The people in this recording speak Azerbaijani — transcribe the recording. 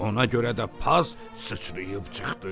Ona görə də paz sıçrayıb çıxdı.